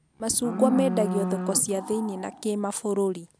Macungwa mendagio thoko cia thĩiniĩ na kĩmabũrũri